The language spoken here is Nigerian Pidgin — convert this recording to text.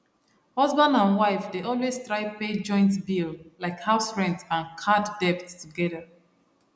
husband and wife dey always try pay joint bill like house rent and card debt togedr